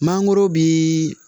Mangoro bii